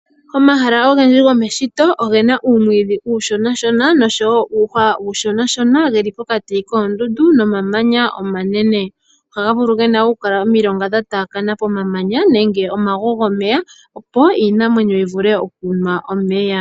Omahala ogendji gomeshito ogena uumwiidhi uushonashona noshowo uuhwa uushonashona geli pokati koondundu nenge komamanya omanene, ohaga vulu gena omilonga dha taakana pokati komamanya nenge omagwa gomeya opo iinamwenyo yivule okunwa omeya.